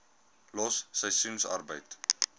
los seisoensarbeid